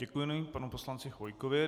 Děkuji panu poslanci Chvojkovi.